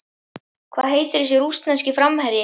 Hvað heitir þessi rússneski framherji?